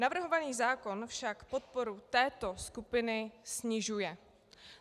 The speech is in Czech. Navrhovaný zákon však podporu této skupiny snižuje.